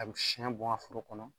A bi siyɛn bɔn foro kɔnɔ.